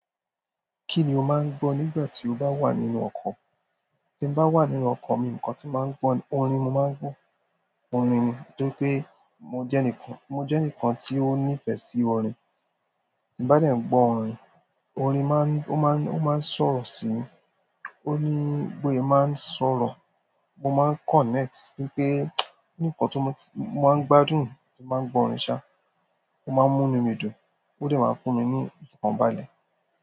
Kí ni o máa ń gbọ́ nígbà tí o bá wà nínú ọkọ̀? Tí bá wà nínú ọkọ̀ mi nǹkan tí máa ń gbọ́ orin mo máa ń gbọ́ orin ni torí pé mo jẹ́ ẹnìkan mo jẹ́ ẹnìkan tí ó nífẹ̀ẹ́ sí orin. Tí bá dẹ̀ ń gbọ orin, orin máa ń, ó máa ń, ó máa ń sọ̀rọ̀ sí i. Óní bóse máa ń sọ̀rọ̀. Mo máa ń connect torípé nǹkan tó mó, mo máa ń gbádùn tí màá ń gbọ́ orin ṣá. Ó máa ń múnú mi dùn, ó dẹ̀ máa fúnmi ní ìfọ̀kànbalẹ̀.